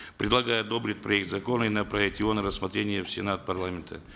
предлагаю одобрить проект закона и направить его на рассмотрение в сенат парламента